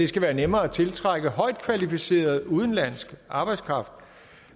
skal være nemmere at tiltrække højt kvalificeret udenlandsk arbejdskraft